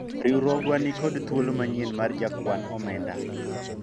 riwruogwa nikod thuolo manyien mar jakwan omenda